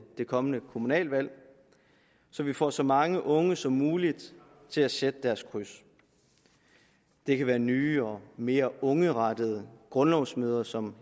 det kommende kommunalvalg så vi får så mange unge som muligt til at sætte deres kryds det kan være nye og mere ungerettede grundlovsmøder som